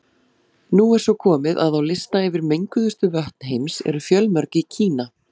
Nú er svo komið að á lista yfir menguðustu vötn heims eru fjölmörg í Kína.